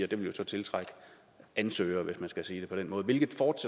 det vil jo så tiltrække ansøgere hvis man skal sige det på den måde hvilket